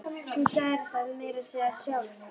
Þú sagðir það meira að segja sjálf!